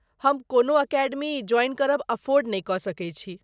हम कोनो academy join करब अफोर्ड नहि कऽ सकैत छी।